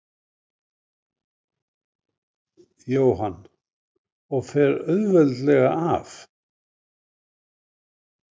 Jóhann: Og fer auðveldlega af?